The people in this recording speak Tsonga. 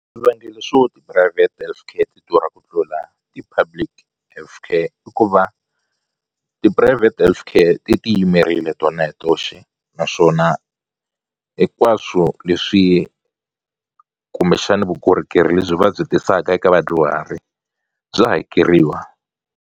Swivangelo swo ti-private health care ti durha ku tlula ti-public health care i ku va ti-private health care ti ti yimerile tona hi toxe naswona hinkwaswo leswi kumbexani vukorhokeri lebyi va byi tisaka eka vadyuhari bya hakeriwa.